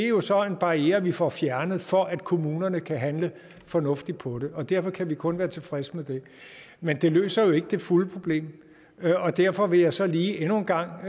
jo så er en barriere vi får fjernet for at kommunerne kan handle fornuftigt på det og derfor kan vi kun være tilfredse med det men det løser jo ikke det fulde problem derfor vil jeg så lige endnu en gang